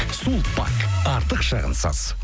сулпак артық шығынсыз